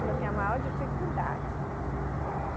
Coloquei a maior dificuldade.